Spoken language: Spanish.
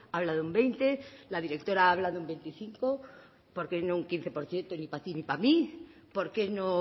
habla de un veinte la directora habla de un veinticinco por qué no un quince por ciento y ni pa ti ni pa mí por qué no